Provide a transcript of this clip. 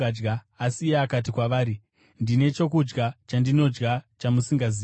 Asi iye akati kwavari, “Ndine chokudya chandinodya chamusingazivi.”